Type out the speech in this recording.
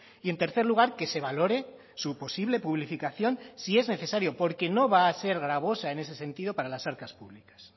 y en tercer lugar que se valore su posible publificación si es necesario porque no va a ser gravosa en ese sentido para las arcas públicas